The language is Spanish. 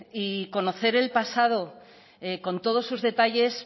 y conocer el pasado con todos sus detalles